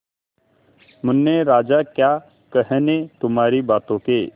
मुन्ने राजा क्या कहने तुम्हारी बातों के